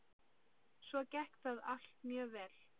Svo gekk það allt mjög vel.